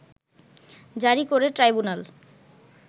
জারি করে ট্রাইব্যুনাল